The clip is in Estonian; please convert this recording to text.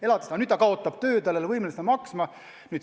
Aga kui ta nüüd töö kaotab, siis ta ei ole võimeline seda maksma.